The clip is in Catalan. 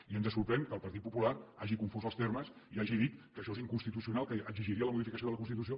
i ens sorprèn que el partit popular hagi confós els termes i hagi dit que això és inconstitucional que exigiria la modificació de la constitució